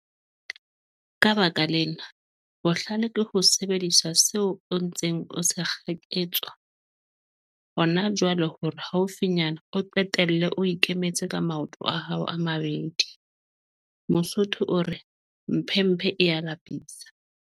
Ka baka lena, bohlale ke ho sebedisa seo o ntseng o se kgaketswa hona jwale hore haufinyana o qetelle o ikemetse ka maoto a hao a mabedi. Mosotho o re, mphemphe e a lapisa!